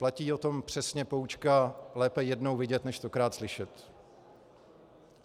Platí o tom přesně poučka lépe jednou vidět než stokrát slyšet.